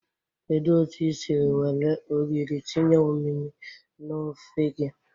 Kedu otu i siri were ogiri tinye omimi na ofe gi?